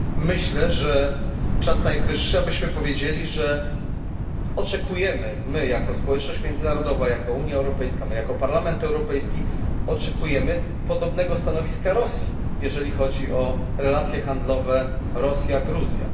Myślę, że czas najwyższy, abyśmy powiedzieli, że oczekujemy my jako społeczność międzynarodowa, my jako Unia Europejska, my jako Parlament Europejski podobnego stanowiska Rosji, jeżeli chodzi o relacje handlowe Rosja Gruzja.